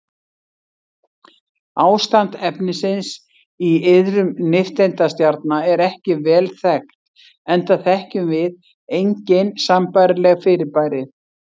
Ástand efnisins í iðrum nifteindastjarna er ekki vel þekkt enda þekkjum við engin sambærileg fyrirbæri.